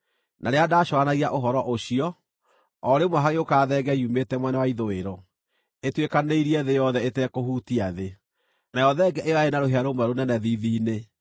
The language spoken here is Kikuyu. Na rĩrĩa ndacũũranagia ũhoro ũcio, o rĩmwe hagĩũka thenge yumĩte mwena wa ithũĩro, ĩtuĩkanĩirie thĩ yothe ĩtekũhutia thĩ, nayo thenge ĩyo yarĩ na rũhĩa rũmwe rũnene thiithi-inĩ.